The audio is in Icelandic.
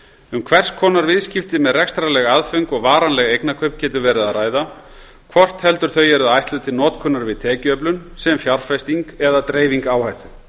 um hvers konar viðskipti með rekstrarleg aðföng og varanleg eignakaup getur verið að ræða hvort heldur þau eru ætluð til notkunar við tekjuöflun sem fjárfesting eða dreifing áhættu